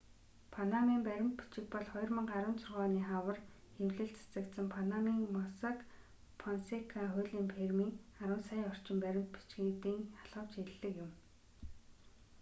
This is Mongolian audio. панамын баримт бичиг бол 2016 оны хавар хэвлэлд цацагдсан панамын моссак фонсека хуулийн фирмийн арван сая орчим баримт бичгүүдийн халхавч хэллэг юм